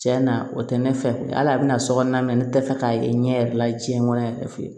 Tiɲɛ na o tɛ ne fɛ hali a bɛna so kɔnɔna na ne tɛ fɛ k'a ye n ɲɛ yɛrɛ la diɲɛ kɔnɔ yɛrɛ